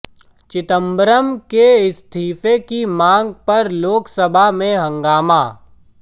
चिदंबरम के इस्तीफे की मांग पर लोकसभा में हंगामा